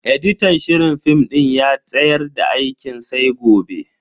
editan shirin film din ya tsayar da aikin sai gobe.